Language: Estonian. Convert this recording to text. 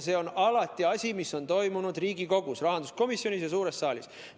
See on asi, mis on alati toimunud Riigikogus, rahanduskomisjonis ja suures saalis.